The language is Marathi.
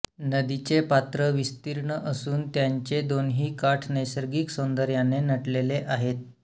नदीचे पात्र विस्तीर्ण असून त्यांचे दोन्ही काठ नैसर्गिक सौंदर्याने नटलेले आहेत